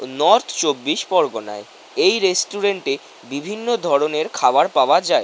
North চব্বিশ পরগনায় এই রেস্টুরেন্ট এ বিভিন্ন ধরণের খাবার পাওয়া যায় ।